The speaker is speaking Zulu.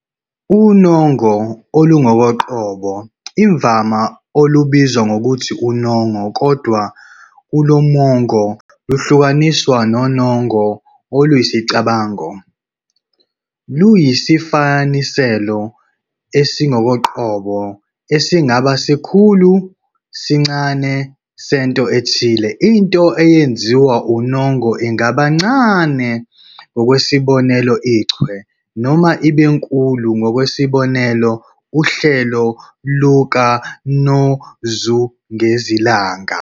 Unongo olungokoqobo, imvama olubizwa ngokuthi unongo kodwa kulomongo luhlukaniswa nonongo oluyisicabango, luyisifaniselo esingokoqobo esingaba sikhulu noma sincane sento ethile. Into eyenziwa unongo ingaba ncane, ngokwesibonelo, ichwe, noma ibe nkulu, ngokwesibonelo, uhlelo lukanozungezilanga.